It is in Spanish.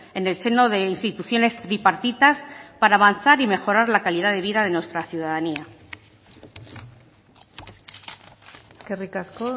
en el seno de instituciones bipartitas para avanzar y mejorar la calidad de vida de nuestra ciudadanía eskerrik asko